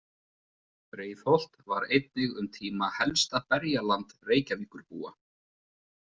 Breiðholt var einnig um tíma helsta berjaland Reykjavíkurbúa.